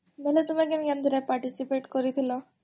ବେଲେ ତମେ କେନ୍ କେନ୍ ଥିରେ participate କରିଥିଲ?